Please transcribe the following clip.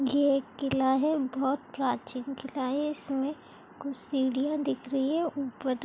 ये एक किला है बहुत प्राचीन किला है इसमें कुछ सीढ़ियां दिख रही है ऊपर--